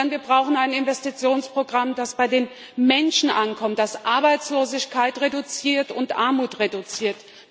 Wir brauchen ein Investitionsprogramm, das bei den Menschen ankommt, das Arbeitslosigkeit und Armut reduziert.